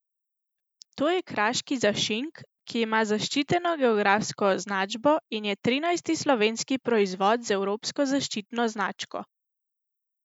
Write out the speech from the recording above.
To je kraški zašink, ki ima zaščiteno geografsko označbo in je trinajsti slovenski proizvod z evropsko zaščitno značko.